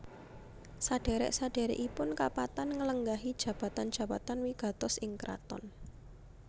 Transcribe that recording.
Sadhèrèk sadhèrèkipun kapatan nglenggahi jabatan jabatan wigatos ing kraton